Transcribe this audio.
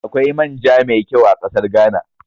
Akwai man ja mai ƙyau a ƙasar Ghana